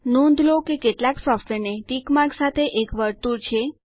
નોંધ લો કે કેટલાક સોફ્ટવેરને ટિક માર્ક સાથે એક વર્તુળ છે